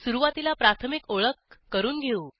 सुरूवातीला प्राथमिक ओळख करून घेऊ